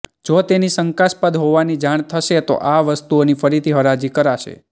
જો તેની શંકાસ્પદ હોવાની જાણ થશે તો આ વસ્તુઓની ફરીથી હરાજી કરાશે